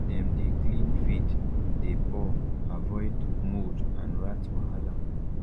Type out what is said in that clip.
dem dey clean feed dey pour avoid mould and rat wahala